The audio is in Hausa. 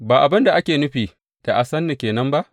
Ba abin da ake nufi da ba san ni ke nan ba?